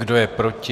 Kdo je proti?